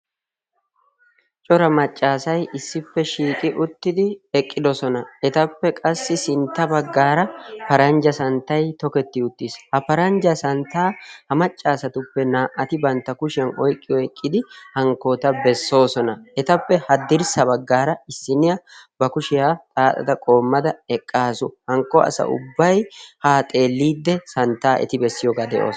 Cora maccassay issippe shiiqi uttidi eqqidoosona. Etappe qassi sintta baggaara paranjja santtay tokketi uttiis. Ha paranjja santtaa ha maccasatuppe naa"ati bantta kushiyaan oyqqi oyqqidi hankkoota bessoosona. Etappe haddirsaa baggaara issiniyaa ba kushiyaa xaaxada qoomada eqqaasu. Hankko asa ubbay ha xeelide santtaa eti bessiyooga be'oosona.